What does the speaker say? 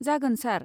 जागोन सार।